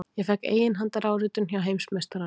Ég fékk eiginhandaráritun hjá heimsmeistaranum!